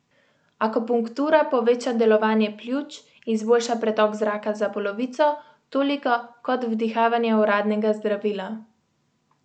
Akupunktura poveča delovanje pljuč, izboljša pretok zraka za polovico, toliko kot vdihavanje uradnega zdravila.